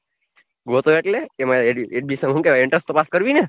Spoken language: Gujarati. ગોતો એટલે એમાં edition હુ કેવાય entrance તો પાસ કરવી ને